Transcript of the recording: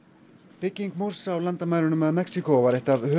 bygging múrs á landamærunum að Mexíkó var eitt af